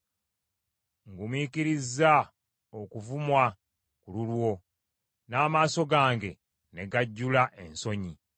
Ngumiikirizza okuvumwa ku lulwo, n’amaaso gange ne gajjula ensonyi.